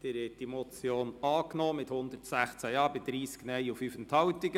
Sie haben die Motion angenommen mit 116 Ja- bei 30 Nein-Stimmen und 5 Enthaltungen.